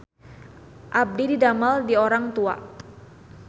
Abdi didamel di Orang Tua